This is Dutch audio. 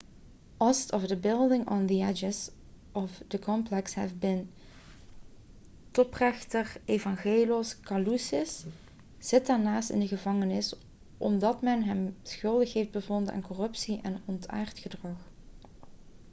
ost of the buildings on the edges of the complex have beentoprechter evangelos kalousis zit daarnaast in de gevangenis omdat men hem schuldig heeft bevonden aan corruptie en ontaard gedrag